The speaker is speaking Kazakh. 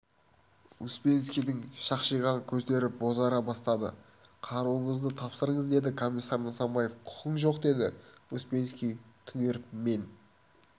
успенскийдің шақшиған көздері бозара бастады қаруыңызды тапсырыңыз деді комиссар нысанбаев құқың жоқ деді успенский түнеріп мен